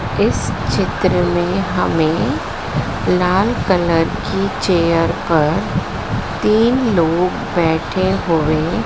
इस चित्र में हमें लाल कलर के चेयर पर तीन लोग बैठे हुए--